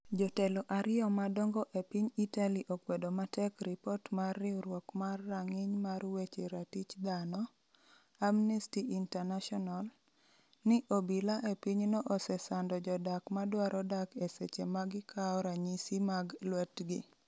jotelo ariyo madongo e piny Italy okwedo matek ripot mar riwruok mar rang'iny mar weche ratich dhano, Amnesty International, ni obila e pinyno osesando jodak madwaro dak e seche ma gikawo ranyisi mag lwetgi.